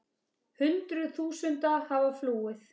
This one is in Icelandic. Hundruð þúsunda hafa flúið.